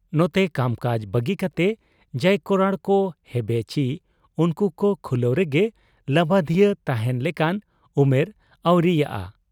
ᱱᱚᱛᱮ ᱠᱟᱢᱠᱟᱡᱽ ᱵᱟᱹᱜᱤ ᱠᱟᱛᱮ ᱡᱟᱭ ᱠᱚᱨᱟᱲ ᱠᱚ ᱦᱮᱵᱮ ᱪᱤ ᱩᱱᱠᱩ ᱠᱚ ᱠᱷᱩᱞᱟᱹᱣ ᱨᱮᱜᱮ ᱞᱟᱹᱵᱟᱹᱫᱷᱤᱭᱟᱹᱣ ᱛᱟᱦᱮᱸᱱ ᱞᱮᱠᱟᱱ ᱩᱢᱮᱨ ᱟᱹᱣᱨᱤᱭᱟᱜ ᱟ ᱾